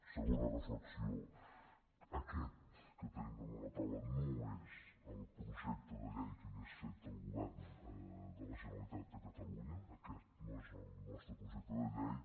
segona reflexió aquest que tenim damunt la taula no és el projecte de llei que hauria fet el govern de la generalitat de catalunya aquest no és el nostre projecte de llei